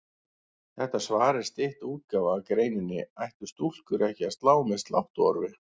Þetta svar er stytt útgáfa af greininni Ættu stúlkur ekki að slá með sláttuorfi?